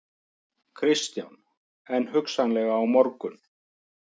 Kristján: En hugsanlega á morgun?